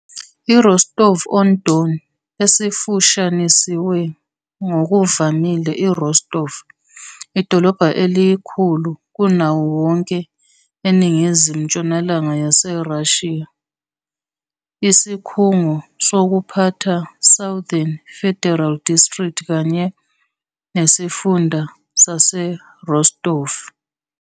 I-Rostov-on-Don, esifushanisiwe ngokuvamile - i-Rostov - idolobha elikhulu kunawo wonke eningizimu-ntshonalanga Yerussia, isikhungo sokuphatha Sesouthern federal District kanye nesifunda Saserostov.